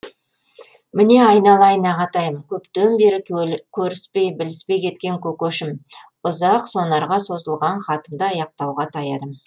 міне айналайын ағатайым көптен бері көріспей біліспей кеткен көкешім ұзақ сонарға созылған хатымды аяқтауға таядым